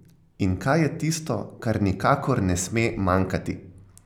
In kaj je tisto, kar nikakor ne sme manjkati?